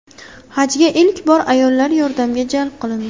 Hajga ilk bor ayollar yordamga jalb qilindi.